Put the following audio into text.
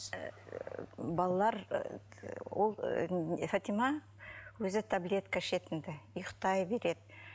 ыыы балалар ыыы ол ыыы фатима өзі таблетка ішетін ді ұйықтай береді